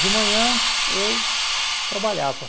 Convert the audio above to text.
De manhã, eu trabalhava.